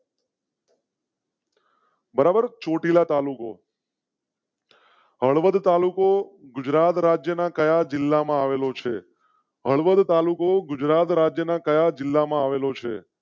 બરાબર ચોટીલા તાલુકો. હળવદ તાલુકો ગુજરાત રાજ્ય ના કયા જિલ્લામાં આવેલો છે? હળવદ તાલુકો ગુજરાત રાજ્ય ના કયા જિલ્લામાં આવેલું છે?